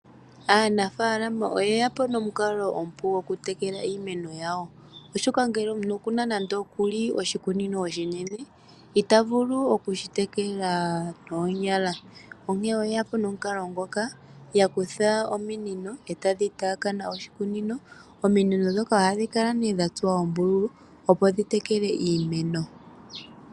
Aanafaalama oye yapo nomukalo omupu go kutekela iimeno yawo, oshoka ngele omuntu okuna nande oshikunino oshinene, itavulu oku shitekela noonyala, onkene oye yapo nomukalo ngoka, ya kutha ominino etadhi taakana oshikunino. Ominino ndhoka ohadhi kala nee dha tsuwa oombululu, opo dhi tekele iimeno.